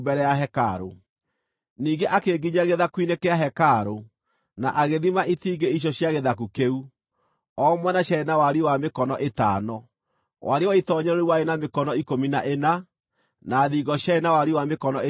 Ningĩ akĩnginyia gĩthaku-inĩ kĩa hekarũ, na agĩthima itingĩ icio cia gĩthaku kĩu; o mwena ciarĩ na wariĩ wa mĩkono ĩtano. Wariĩ wa itoonyero rĩu warĩ na mĩkono ikũmi na ĩna, na thingo ciarĩ na wariĩ wa mĩkono ĩtatũ o mwena.